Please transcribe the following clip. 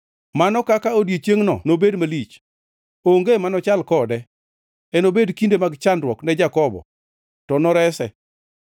Mano kaka odiechiengʼno nobed malich! Onge manochal kode. Enobed kinde mag chandruok ne Jakobo, to norese.’ ”